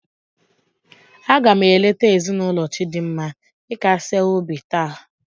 A ga m eleta ezinụlọ Chidinma ịkasie ha obi taa.